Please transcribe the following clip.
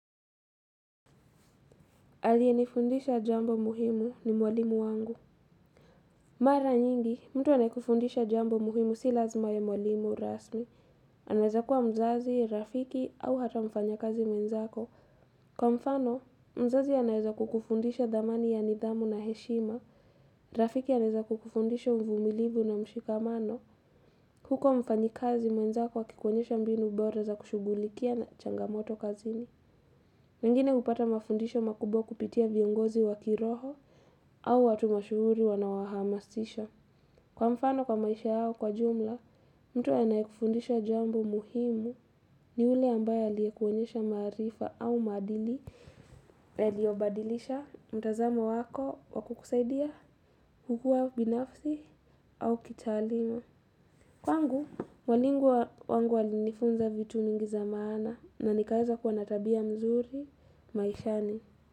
Aliyenifundisha jambo muhimu ni mwalimu wangu. Mara nyingi, mtu anayekufundisha jambo muhimu si lazima awe mwalimu rasmi. Anaweza kuwa mzazi, rafiki au hata mfanyakazi mwenzako. Kwa mfano, mzazi anaweza kukufundisha thamani ya nidhamu na heshima. Rafiki anaweza kukufundisha uvumilibu na mshikamano. Huku mfanyi kazi mwenzako akikuonyesha mbinu bora za kushugulikia changamoto kazini. Wengine hupata mafundisho makubwa kupitia viongozi wakiroho. Au watu mashuhuri wanawahamasisha. Kwa mfano kwa maisha yao kwa jumla, mtu anayekufundisha jambo muhimu ni ule ambaye aliyekuonyesha maarifa au maadili yaliobadilisha mtazamo wako wakukusaidia kukua binafsi au kitaaluma. Kwangu, mwalimu wangu alinifunza vitu nyingi za maana na nikaweza kuwa na tabia mzuri maishani.